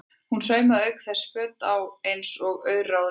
Hún saumaði auk þess á okkur föt eins og auraráð leyfðu.